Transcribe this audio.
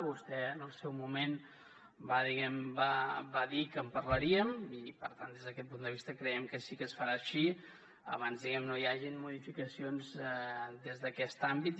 vostè en el seu moment va dir que en parlaríem i per tant des d’aquest punt de vista creiem que sí que es farà així abans diguem ne no hi hagin modificacions des d’aquest àmbit